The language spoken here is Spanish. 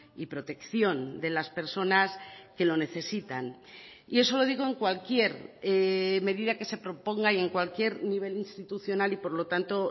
y protección de las personas que lo necesitan y eso lo digo en cualquier medida que se proponga y en cualquier nivel institucional y por lo tanto